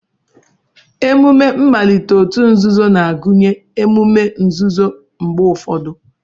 Emume mmalite òtù nzuzo na-agụnye emume nzuzo mgbe ụfọdụ